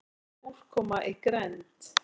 Hvað er úrkoma í grennd?